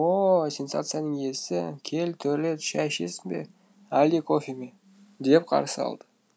ооо сенсацияның иесі кел төрлет шай ішесің бе әлде кофе ме деп қарсы алды